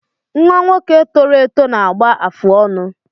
Nnwa nwoke tọrọ eto na-agba afụ ọnụ